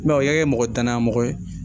o y'a kɛ mɔgɔ tanya mɔgɔ ye